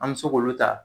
An bɛ se k'olu ta